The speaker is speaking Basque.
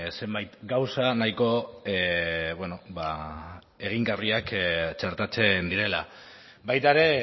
zenbait gauza nahiko egingarriak txertatzen direla baita ere